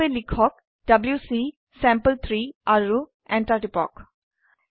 তাৰ বাবে লিখক ডব্লিউচি চেম্পল3 আৰু এন্টাৰ টিপক